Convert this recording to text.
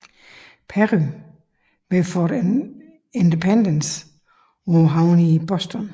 Perry ved Fort Independence på havnen i Boston